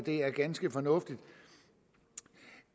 er ganske fornuftigt